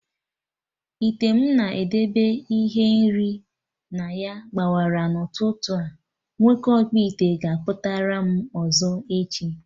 Ite m na-edebe ihe nri na ya gbawara n'ụtụtụ a, nwoke ọkpụite ga akputaram ọzọ echi